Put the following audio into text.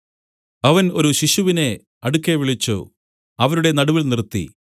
അവൻ ഒരു ശിശുവിനെ അടുക്കെ വിളിച്ചു അവരുടെ നടുവിൽ നിർത്തി